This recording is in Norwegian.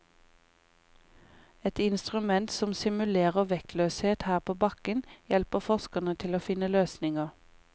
Et instrument som simulerer vektløshet her på bakken hjelper forskerne til å finne løsninger.